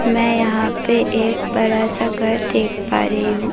मैं यहां पे एक बड़ा सा घर देख पा रही हूं।